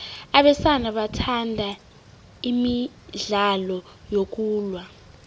abesana bathanda imidlalo yokulwa